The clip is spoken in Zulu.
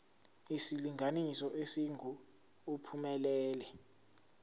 isilinganiso esingu uphumelele